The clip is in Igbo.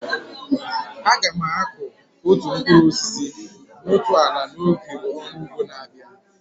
Aga m akụ otu mkpụrụ osisi na otu ala n'oge ọrụ ugbo na-abịa.